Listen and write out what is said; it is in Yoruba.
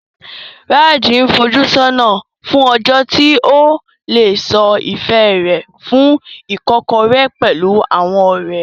Raj ń fojú sọ́nà fún ọjọ́ tí ó lè sọ ìfẹ́ rẹ̀ fún Ìkọ́kọ̀rẹ́ pẹ̀lú àwọn ọ̀rẹ́.